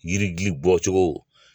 Yiri dili bɔcogo